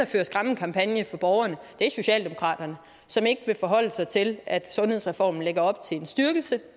fører skræmmekampagne for borgerne er socialdemokraterne som ikke vil forholde sig til at sundhedsreformen lægger op til en styrkelse